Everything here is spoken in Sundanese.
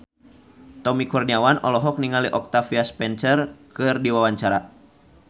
Tommy Kurniawan olohok ningali Octavia Spencer keur diwawancara